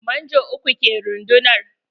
Manjo uku ke rundunar.